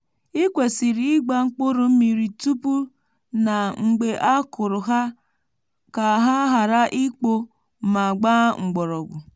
ikwesiri ịgba mkpụrụ mmiri tupu na mgbe a kụrụ ha ka ha ghara ikpoo ma gbaa mgbọrọgwụ.